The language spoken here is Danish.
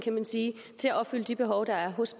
til at opfylde de behov der er hos